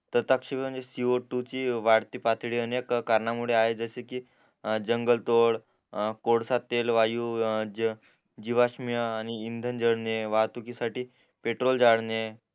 संताप्शी म्हणजे सीओटू ची वाढती पातळी अनेक कारणा मुळे आहे जसं कि जंगल तोड कोळसा तेल वायू जीवाष्म आणि इंधन जडणे वाहतुकी साठी पेट्रोल जाडने